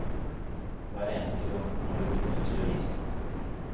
Hver eneste gang har de blitt nødt til å gi seg.